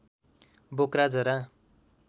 बोक्रा जरा